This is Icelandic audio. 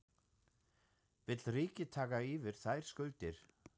Vill ríkið taka yfir þær skuldir?